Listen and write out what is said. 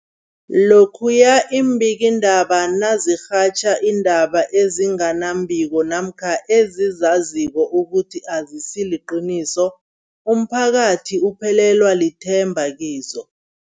Lokhuya iimbikiindaba nazirhatjha iindaba ezinga nembiko namkha ezizaziko ukuthi azisiliqiniso, umphakathi uphelelwa lithemba kizo.